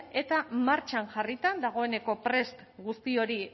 eta martxan jarrita dagoeneko prest guzti hori